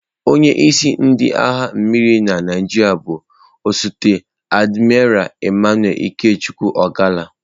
Onye isi ndị agha mmiri na Naịjirịa bụ osote Admiral Emmanuel Ikechukwu Ogalla.